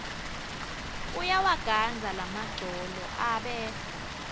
uyawagandza lamagcolo abe